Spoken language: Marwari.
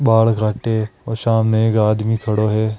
बाल काटे और सामने एक आदमी खड़ा है।